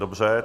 Dobře.